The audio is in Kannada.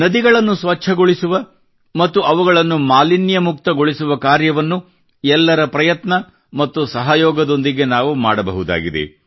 ನದಿಗಳನ್ನು ಸ್ವಚ್ಚಗೊಳಿಸುವ ಮತ್ತು ಅವುಗಳನ್ನು ಮಾಲಿನ್ಯಮುಕ್ತಗೊಳಿಸುವ ಕಾರ್ಯವನ್ನು ಎಲ್ಲರ ಪ್ರಯತ್ನ ಮತ್ತು ಸಹಯೋಗದೊಂದಿಗೆ ನಾವು ಮಾಡಬಹುದಾಗಿದೆ